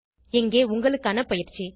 இங்கே உங்களுக்கான பயிற்சி